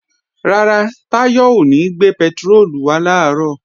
Rárá, Táyọ̀ ò ní gbé pẹtiróòlù wá làárọ̀